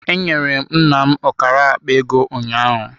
Enyere m nna m ọkara akpa ego ụnyaahụ.